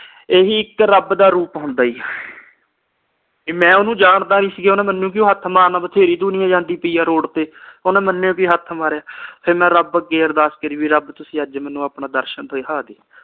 ਇਹੀ ਇਕ ਰੱਬ ਦਾ ਰੂਪ ਹੁੰਦਾ ਆ ਜੀ ਕੇ ਮੈਂ ਓਹਨੂੰ ਜਾਣਦਾ ਨਹੀ ਸੀ ਗਾ ਓਹਨੇ ਮੈਨੂੰ ਕਿਉਂ ਹੱਥ ਮਾਰਨਾ ਬਥੇਰੀ ਦੁਨੀਆ ਜਾਂਦੀ ਪਈਆ ਰੋਡ ਓਹਨੇ ਮੈਨੂੰ ਈ ਕਿਉਂ ਹੱਥ ਮਾਰਿਆ ਤੇ ਫਿਰ ਮੈਂ ਰੱਬ ਅੱਗੇ ਅਰਦਾਸ ਕਰੀ ਵੀ ਰਬ ਤੁਸੀ ਅੱਜ ਮੈਨੂੰ ਆਪਣਾ ਦਰਸ਼ਨ